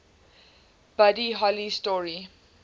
buddy holly story